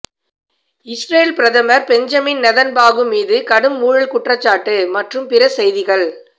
Israel பிரதமர் Benjamin Netanyahu மீது கடும் ஊழல் குற்றச்சாட்டு மற்றும் பிற செய்திகள்